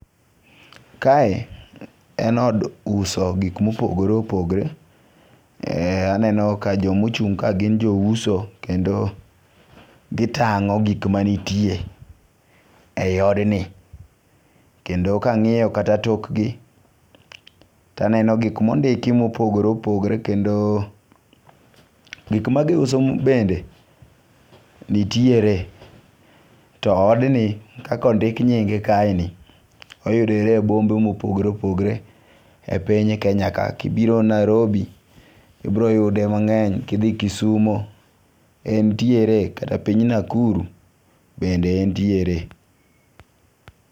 Kae en od uso gik mopogore opogore. Aneno ka jomochung' ka gin jo uso. Kendo gitang'o gik manitie e yi odni. Kendo ka ang'iyo kata tok gi, taneno gik mondik mopogore opogore. Kendo gik magiuso bende nitiere. To odni kaka ondik nyinge kae ni oyudore e bombe mopogore opogore e piny Kenya ka. Kibiro Nairobi, ibiro yude mang'eny. Kidhi Kisumo entiere kata piny Nakuru bende entiere.